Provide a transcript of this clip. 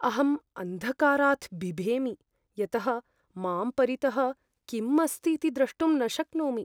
अहम् अन्धकारात् बिभेमि यतः मां परितः किम् अस्तीति द्रष्टुं न शक्नोमि।